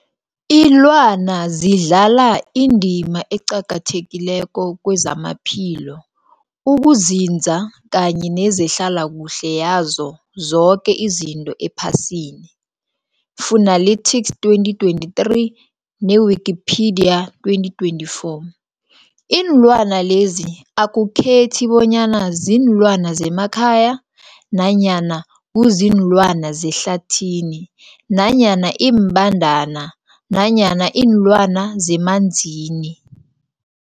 Ilwana zidlala indima eqakathekileko kezamaphilo, ukunzinza kanye nezehlala kuhle yazo zoke izinto ephasini, Fuanalytics 2023, ne-Wikipedia 2024. Iinlwana lezi akukhethi bonyana ziinlwana zemakhaya nanyana kuziinlwana zehlathini nanyana iimbandana nanyana iinlwana zemanzini.